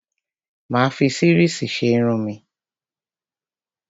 Mà á fi series ṣe irun mi.